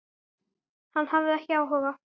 Hann hafði ekki áhuga.